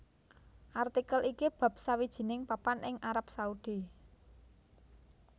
Artikel iki bab sawijining papan ing Arab Saudi